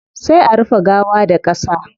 Sai a rufe gawa da qasa